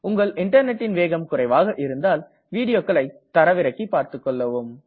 உங்கள் இன்டர்நெட்டின் வேகம் குறைவாக இருந்தால் வீடியோக்களை தரவிறக்கி செய்து பார்த்துக்கொள்ளவும்